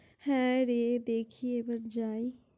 হ্যাঁ রে দেখি একবার যাই!